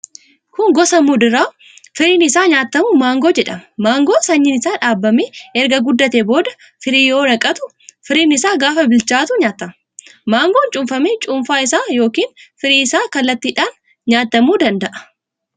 Kun gosa muduraa firiin isaa nyaatamu mangoo jedhama. Mangoon sanyiin isaa dhaabamee erga guddatee booda firii yoo naqatu, firiin isaa gaafa bilchaatu nyaatama. Mangoon cuunfamee cuunfaa isaa yookiin firii isaa kallattiidhaan nyaatamuu danda'a.